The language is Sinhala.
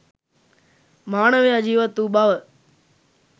මානවයා ජීවත් වූ බව